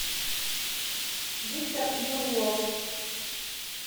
виктор юрлов